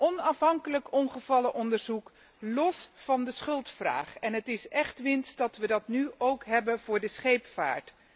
Onafhankelijk ongevallenonderzoek, los van de schuldvraag het is echt winst dat we dat nu ook hebben voor de scheepvaart.